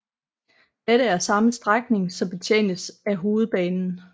Dette er samme strækning som betjenes af Hovedbanen